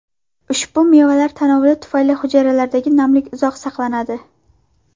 Ushbu mevalar tanovuli tufayli hujayralardagi namlik uzoqroq saqlanadi.